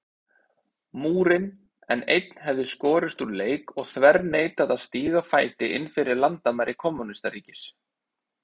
Múrinn, en einn hefði skorist úr leik og þverneitað að stíga fæti innfyrir landamæri kommúnistaríkis.